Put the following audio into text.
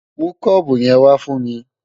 Mú kọ́ọ̀bù yẹn wá fún mi!